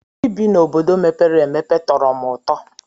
Ị bi n'obodo mepere emepe tọrọ m ụtọ.